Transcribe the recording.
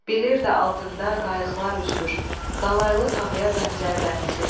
Bilirdi altında qayıqlar üzür, qalaylı tavaya bənzər dənizin.